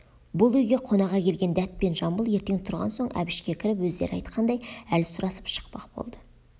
бұл үйге қонаға келген дәт пен жамбыл ертең тұрған соң әбішке кіріп өздері айтқандай әл сұрасып шықпақ болды